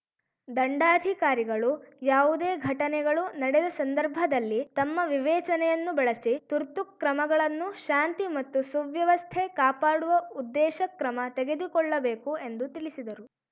ದಂಡಾಧಿಕಾರಿಗಳು ಯಾವುದೇ ಘಟನೆಗಳು ನಡೆದ ಸಂದರ್ಭದಲ್ಲಿ ತಮ್ಮ ವಿವೇಚನೆಯನ್ನು ಬಳಸಿ ತುರ್ತು ಕ್ರಮಗಳನ್ನು ಶಾಂತಿ ಮತ್ತು ಸುವ್ಯವಸ್ಥೆ ಕಾಪಾಡುವ ಉದ್ದೇಶ ಕ್ರಮ ತೆಗೆದುಕೊಳ್ಳಬೇಕು ಎಂದು ತಿಳಿಸಿದರು